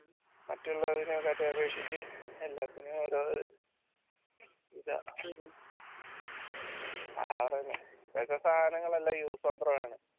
മറ്റുള്ളതിനെക്കാട്ടിയും അപേക്ഷിച്ച് എല്ലാത്തിനും ഓരോ ഇതാ useandthrough ആണ്